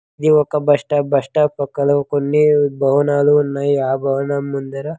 ఇది ఒక bus stop bus stop పక్కలో కొన్ని భవనాలు ఉన్నాయి. ఆ భవనం ముందర --